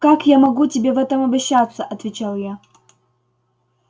как я могу тебе в этом обещаться отвечал я